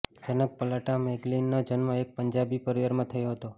જનક પલટા મેગલિગનનો જન્મ એક પંજાબી પરિવારમાં થયો હતો